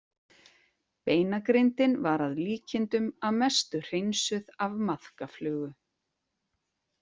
Beinagrindin var að líkindum að mestu hreinsuð af maðkaflugu.